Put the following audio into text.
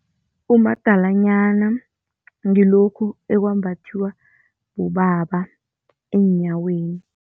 Umadalanyana ngilokhu ekwembathiwa bobaba eenyaweni.